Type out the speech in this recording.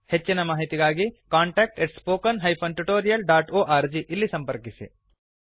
ಹೆಚ್ಚಿನ ಮಾಹಿತಿಗಾಗಿ contact spoken tutorialorg ಈ ಈ ಮೇಲ್ ಮೂಲಕ ಸಂಪರ್ಕಿಸಿ